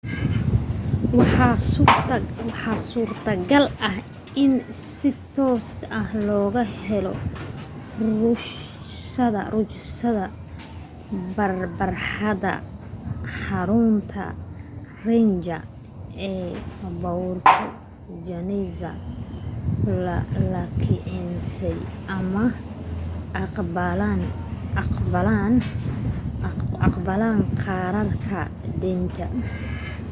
waxaa suurta-gal ah in si toos ah looga helo rukhsadaha barxadda xarunta ranger ee puerto jiménez laakiinse ma aqbalaan kaararka deynta